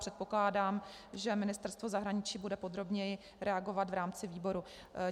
Předpokládám, že ministerstvo zahraničí bude podrobněji reagovat v rámci výboru.